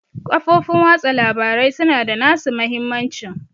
Social Media has its advantage